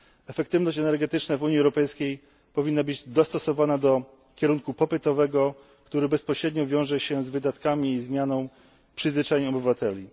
Efektywność energetyczna w Unii Europejskiej powinna być dostosowana do kierunku popytowego, który bezpośrednio wiąże się z wydatkami i zmianą przyzwyczajeń obywateli.